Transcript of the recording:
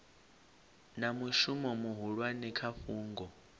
na mushumo muhulwane kha fhungo